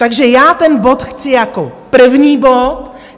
Takže já ten bod chci jako první bod.